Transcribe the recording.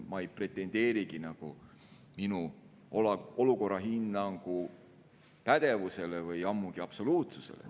Ma ei pretendeerigi minu olukorrahinnangu pädevusele, ammugi mitte absoluutsusele.